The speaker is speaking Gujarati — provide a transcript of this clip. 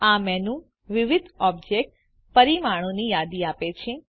આ મેનુ વિવિધ ઓબ્જેક્ટ પરિમાણોની યાદી આપે છે